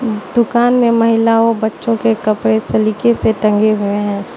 दुकान में महिला व बच्चों के कपड़े सलीके से टंगे हुए हैं।